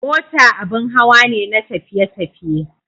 Mota abin hawa ne na tafiye-tafiye.